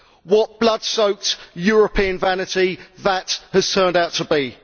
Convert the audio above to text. What blood soaked European vanity that has turned out to be!